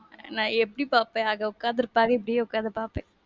நான் எப்டி பாப்பேன்? அங்க உக்காந்து இருப்பாங்க. இப்படியே உக்காந்து பாப்பேன்.